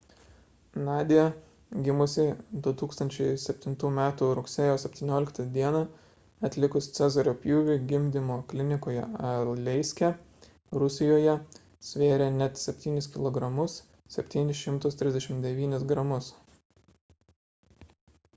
nadia gimusi 2007 m rugsėjo 17 d atlikus cezario pjūvį gimdymo klinikoje aleiske rusijoje svėrė net 7 kilogramus 739 gramus